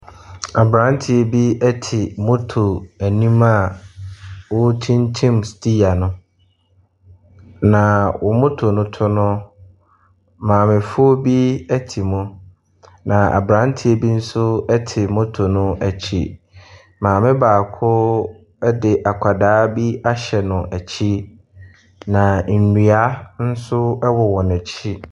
Aberanteɛ bi te motto anim a ɔrekyinkyim steer no, na motto no to no, maamefoɔ bi te hɔ. na aberanteɛ bi nso te motto no akyi. Maame baako bi de akwadaa bi ahyɛ n’akyi, na nnua nso wɔ wɔn akyi.